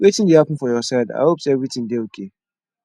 wetin dey happen for your side i hope say everything dey okay